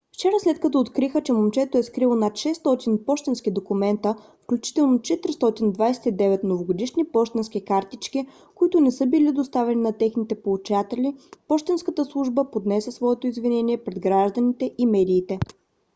вчера след като откриха че момчето е скрило над 600 пощенски документа включително 429 новогодишни пощенски картички които не са били доставени на техните получатели пощенската служба поднесе своето извинение пред гражданите и медиите